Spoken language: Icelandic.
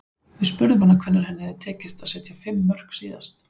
Við spurðum hana hvenær henni hefði tekist að setja fimm mörk síðast.